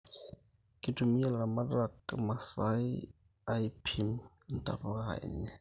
Kitumia ilaramatak imasaii aipim intapuka enye